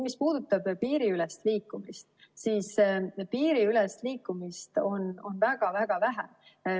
Mis puudutab piiriülest liikumist, siis piiriülest liikumist on väga-väga vähe.